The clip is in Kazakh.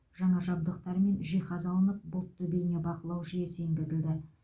жаңа жабдықтар мен жиһаз алынып бұлтты бейнебақылау жүйесі енгізілді